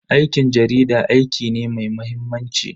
Aikin jarida aiki ne mai mahimmanci.